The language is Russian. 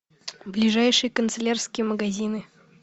ближайшие канцелярские магазины